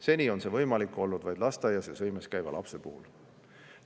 Seni on see võimalik olnud vaid lasteaias ja -sõimes käiva lapse puhul.